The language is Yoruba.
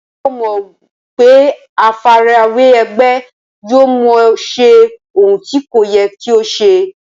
Ṣé o mọ̀ pé àfarawé ẹgbẹ́ yóò mú ọ ṣe ohun tí kò yẹ kí o ṣe?